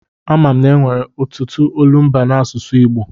A ma m na-enwere ọtụtụ olumba n'asụsụ Igbo.